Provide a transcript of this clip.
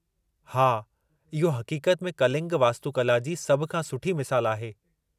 हा, इहो हक़ीक़त में कलिंग वास्तुकला जी सभ खां सुठी मिसाल आहे।